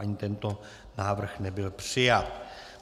Ani tento návrh nebyl přijat.